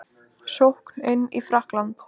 Sókn inn í Frakkland